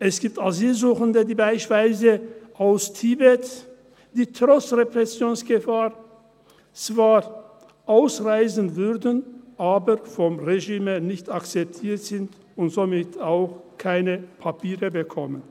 Es gibt Asylsuchende, wie beispielsweise aus Tibet, die trotz Repressionsgefahr zwar ausreisen würden, aber vom Regime nicht akzeptiert sind und somit auch keine Papiere bekommen.